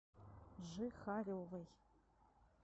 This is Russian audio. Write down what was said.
жихаревой